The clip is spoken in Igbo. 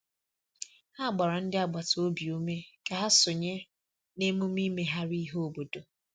Ha gbara ndị agbata obi ume ka ha sonye na emume imegharị ihe obodo.